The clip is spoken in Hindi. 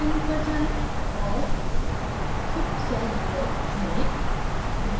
build menu पर जाएँ और super cell builder चुनें